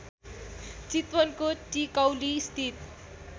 चितवनको टिकौलीस्थित